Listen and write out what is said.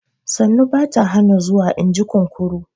Sannu ba ta hana zuwa, in ji kunkuru